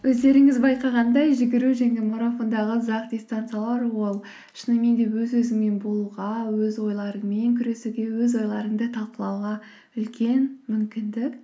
өздеріңіз байқағандай жүгіру және марафондағы ұзақ дистанциялар ол шынымен де өз өзіңмен болуға өз ойларыңмен күресуге өз ойларыңды талқылауға үлкен мүмкіндік